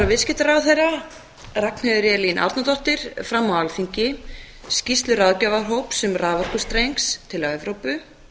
viðskiptaráðherra ragnheiður elín árnadóttir fram á alþingi skýrslu ráðgjafarhóps um raforkustreng til evrópu